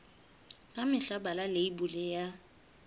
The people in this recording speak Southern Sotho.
ka mehla bala leibole ya